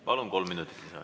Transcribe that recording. Palun, kolm minutit lisaaega.